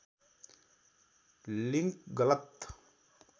link गलत